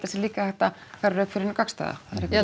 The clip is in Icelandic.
sé líka hægt að færa rök fyrir hinu gagnstæða ég held